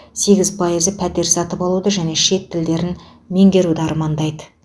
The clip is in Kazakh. сегіз пайызы пәтер сатып алуды және шет тілдерін меңгеруді армандайды